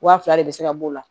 Wa fila de bɛ se ka b'o la